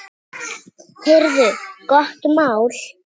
Heyrðu, gott mál.